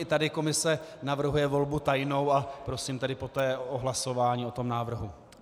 I tady Komise navrhuje volbu tajnou, a prosím tedy poté o hlasování o tom návrhu.